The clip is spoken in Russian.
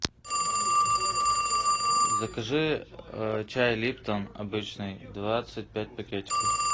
закажи чай липтон обычный двадцать пять пакетиков